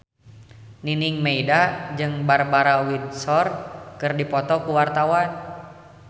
Nining Meida jeung Barbara Windsor keur dipoto ku wartawan